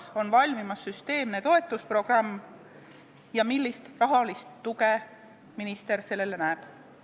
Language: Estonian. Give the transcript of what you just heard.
Kas on valmimas süsteemne toetusprogramm ja millist rahalist tuge minister sellele näeb?